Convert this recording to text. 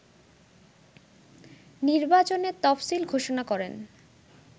নির্বাচনের তফসিল ঘোষণা করেন